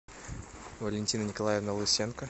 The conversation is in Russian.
валентина николаевна лысенко